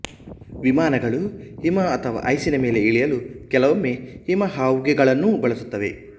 ವಿಮಾನಗಳು ಹಿಮ ಅಥವಾ ಐಸಿನ ಮೇಲೆ ಇಳಿಯಲು ಕೆಲವೊಮ್ಮೆ ಹಿಮ ಹಾವುಗೆಗಳನ್ನೂ ಬಳಸುತ್ತವೆ